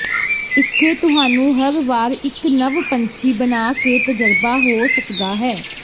ਇੱਥੇ ਤੁਹਾਨੂੰ ਹਰ ਵਾਰ ਇੱਕ ਨਵ ਪੰਛੀ ਬਣਾ ਕੇ ਤਜਰਬਾ ਹੋ ਸਕਦਾ ਹੈ